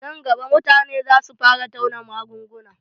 Nan gaba, mutane za su fara tauna magunguna